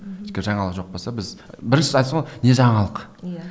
өйткені жаңалық жоқ болса біз бірінші айтасың ғой не жаңалық иә